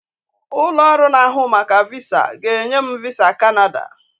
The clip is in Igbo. Ụlọ ọrụ na-ahụ maka VISA ga-enye m VISA Kanada